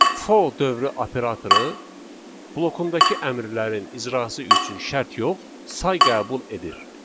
For dövrü operatoru blokundakı əmrlərin icrası üçün şərt yox, say qəbul edir.